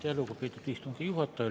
Aitäh, lugupeetud istungi juhataja!